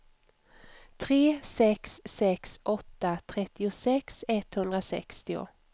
tre sex sex åtta trettiosex etthundrasextio